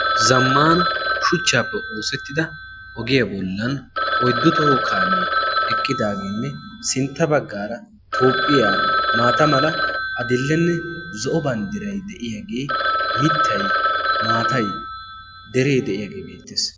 Zammaana shuchchaappe oosettida ogiyaa bollan oyddu toho kaamee eqqidaageenne sintta baggaara toopphiyaa maata mala adil'e, zo'o banddiray de'iyaagee mittaymaatayderee de'iyaagee beettees.